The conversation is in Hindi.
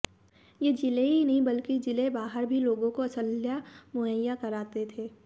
ये जिले ही नहीं बल्कि जिले बाहर भी लोगों को असलहा मुहैया कराते थे